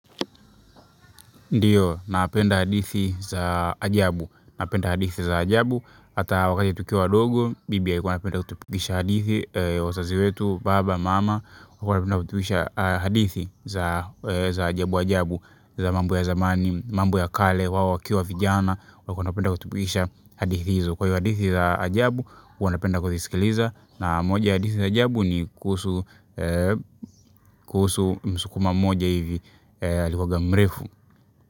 Ndiyo, napenda hadithi za ajabu, napenda hadithi za ajabu, ata wakati tukiwa wadogo, bibi alikuwa anapenda kutupigisha hadithi wazazi wetu, baba, mama, waliku wanapenda kutupigisha hadithi za za ajabu ajabu, za mambo ya zamani, mambo ya kale, wao wakiwa vijana, walikuwa wanapenda kutupigisha hadithi hizo. Kwa hiyo hadithi za ajabu, huwa napenda kuzisikiliza, na moja hadithi za ajabu ni kuhusu msukuma moja hivi, alikuwaga mrefu.